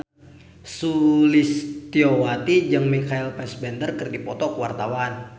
Sulistyowati jeung Michael Fassbender keur dipoto ku wartawan